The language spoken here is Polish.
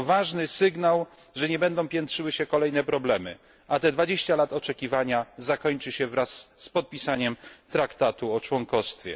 To ważny sygnał, że nie będą piętrzyły się kolejne problemy, a te 20 lat oczekiwania zakończy się wraz z podpisaniem Traktatu o członkostwie.